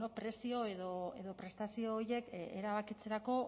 prezio edo prestazio horiek erabakitzerako